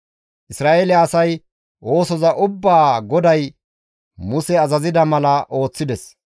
Isra7eele asay oosoza ubbaa GODAY Muse azazida mala ooththides.